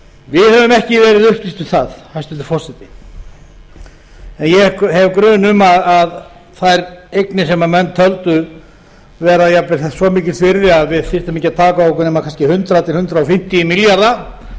við höfum ekki verið upplýst um það hæstvirtur forseti en ég hef grun um að þær eignir sem menn töldu vera jafnvel svo mikils virði að við þyrftum ekki að taka á okkur nema kannski hundrað til hundrað fimmtíu milljarða